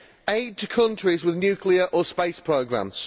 aid to countries with nuclear or space programmes